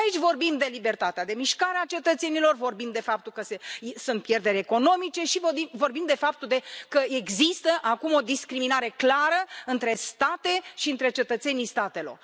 Aici vorbim de libertatea de mișcare a cetățenilor, vorbim de faptul că sunt pierderi economice și vorbim de faptul că există acum o discriminare clară între state și între cetățenii statelor.